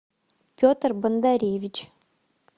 петр бондаревич